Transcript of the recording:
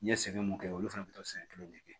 N ye sɛgɛn mun kɛ olu fana bɛ to siɲɛ kelen de kɛ